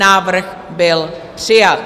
Návrh byl přijat.